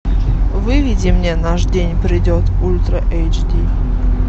выведи мне наш день придет ультра эйч ди